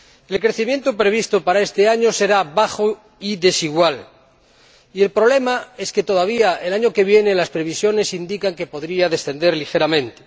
El crecimiento previsto para este año será bajo y desigual y el problema es que todavía, el año que viene, las previsiones indican que podría descender ligeramente.